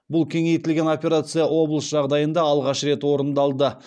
бұл кеңейтілген операция облыс жағдайында алғаш рет орындалды